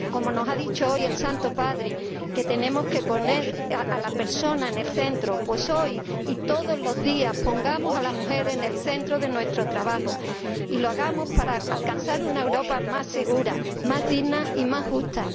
Como nos ha dicho hoy el Santo Padre, tenemos que poner a la persona en el centro pues hoy y todos los días pongamos a la mujer en el centro de nuestro trabajo y hagámoslo para alcanzar una Europa más segura, más digna y más justa.